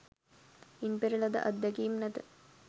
ඉන් පෙර ලද අත්දැකීමක් නැත.